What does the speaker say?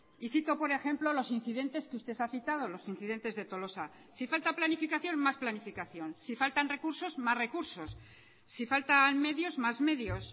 y cito por ejemplo los incidentes que usted ha citado los incidentes de tolosa si falta planificación mas planificación si faltan recursos más recursos si faltan medios más medios